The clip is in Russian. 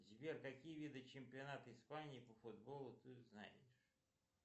сбер какие виды чемпионата испании по футболу ты знаешь